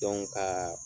ka